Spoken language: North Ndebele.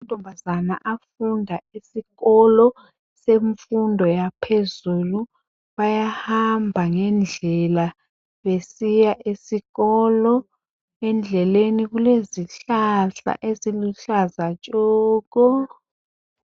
Amantombazana afunda esikolo semfundo yaphezulu bayahamba ngendlela besiya esikolo, endleleni kulezihlahla eziluhlaza tshoko.